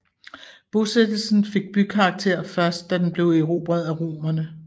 Bosættelsen fik bykarakter først da den blev erobret af Romerne